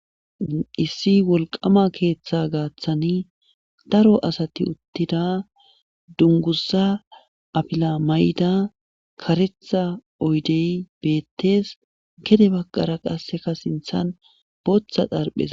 Issi wolqama keeththa gaaththani daro asati uttida dunguza afila may7da karetha oydey bettees gede bagqara qasseka sinthan booththa darphes